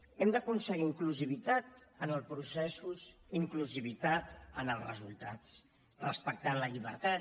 hem d’aconseguir inclusivitat en els processos inclusivitat en els resultats respectant la llibertat